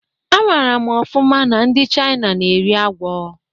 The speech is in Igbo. Amara m ofụma na ndi Chaina na-eri agwọ